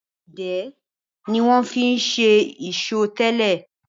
Idẹ ni wọ́n fi ń ṣe ìṣó tẹ́lẹ̀.